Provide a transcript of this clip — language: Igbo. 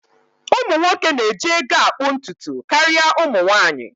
Ụmụ nwoke na-eji ego akpụ ntutu karịa ụmụ nwanyị